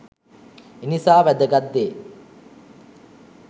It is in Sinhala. එනිසා වෑදගත් දේ